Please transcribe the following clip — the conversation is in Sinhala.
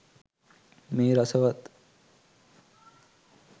මේ රසවත්